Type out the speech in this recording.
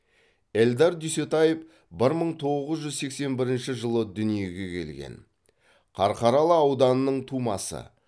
эльдар дүйсетаев бір мың тоғыз жүз сексен бірінші жылы дүниеге келген қарқаралы ауданының тумасы